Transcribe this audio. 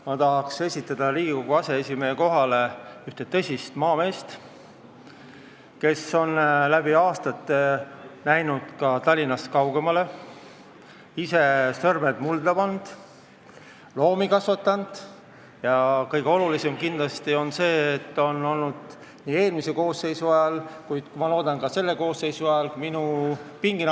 Ma tahan esitada Riigikogu aseesimehe kohale ühe tõsise maamehe, kes on läbi aastate näinud ka Tallinnast kaugemale, ise sõrmed mulda pannud ja loomi kasvatanud, aga kõige olulisem on kindlasti see, et ta oli eelmise koosseisu ajal minu pinginaaber ja ma loodan, et ta on seda ka selle koosseisu ajal.